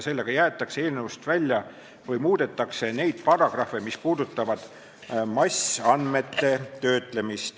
Sellega jäetakse eelnõust välja paragrahvid või muudetakse paragrahve, mis käsitlevad massandmete töötlemist.